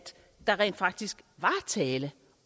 der rent faktisk var tale